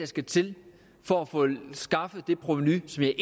skal til for at få skaffet det provenu som jeg